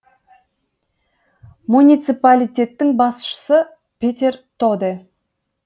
муниципалитеттің басшысы петер тоде